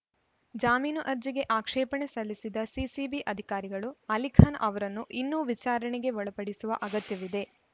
ಜಾಮೀನು ಅರ್ಜಿಗೆ ಆಕ್ಷೇಪಣೆ ಸಲ್ಲಿಸಿದ ಸಿಸಿಬಿ ಅಧಿಕಾರಿಗಳು ಅಲಿಖಾನ್‌ ಅವರನ್ನು ಇನ್ನೂ ವಿಚಾರಣೆಗೆ ಒಳಪಡಿಸುವ ಅಗತ್ಯವಿದೆ